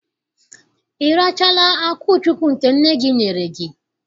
Ị rachaala akwụchukwu nke nne gị nyere gị?